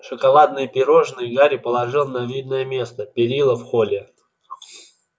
шоколадные пирожные гарри положил на видное место перила в холле